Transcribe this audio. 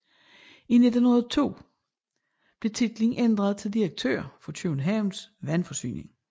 I 1902 blev titlen ændret til direktør for Københavns Vandforsyning